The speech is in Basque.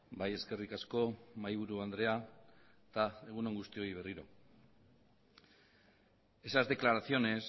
bai eskerrik asko mahaiburu andrea eta egun on guztioi berriro esas declaraciones